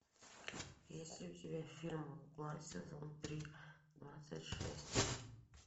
есть ли у тебя фильм мгла сезон три двадцать шесть